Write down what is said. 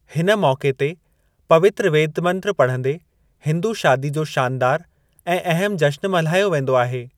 हिन मौके ते पवित्र वेद मंत्र पढ़ंदे हिंदू शादी जो शानदार ऐं अहम जश्‍न मल्हायो वेंदो आहे।